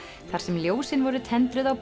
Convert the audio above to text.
þar sem ljósin voru tendruð á